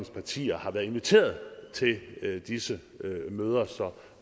partier var inviteret til disse møder så